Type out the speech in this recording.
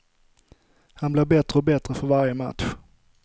Han blir bättre och bättre för varje match.